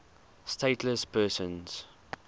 stateless persons